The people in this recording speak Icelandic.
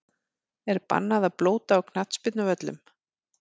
Er bannað að blóta á knattspyrnuvöllum?!